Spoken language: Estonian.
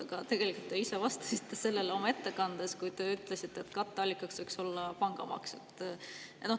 Aga tegelikult te ise vastasite sellele oma ettekandes, kui te ütlesite, et katteallikaks võiks olla pangamaks.